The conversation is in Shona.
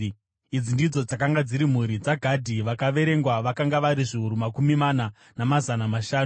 Idzi ndidzo dzakanga dziri mhuri dzaGadhi; vakaverengwa vakanga vari zviuru makumi mana, namazana mashanu.